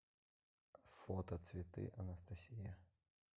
фото цветы анастасия